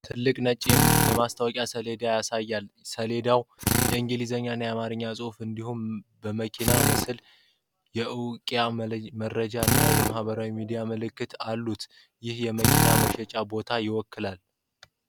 ትልቅ ነጭ የማስታወቂያ ሰሌዳ ያሳያል። ሰሌዳው የእንግሊዝኛ እና የአማርኛ ጽሁፍ እንዲሁም የመኪና ምስል፣ የእውቂያ መረጃ እና የማህበራዊ ሚዲያ ምልክቶች አሉት፤ ይህም የመኪና መሸጫ ቦታን አይወክልም?